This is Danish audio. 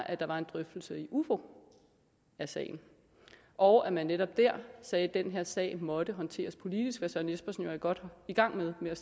at der var en drøftelse i ufo af sagen og at man netop der sagde at den her sag måtte håndteres politisk hvad herre søren espersen jo er godt i gang med ved at